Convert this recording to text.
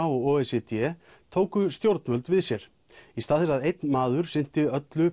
og o e c d tóku stjórnvöld við sér í stað þess að einn maður sinnti öllu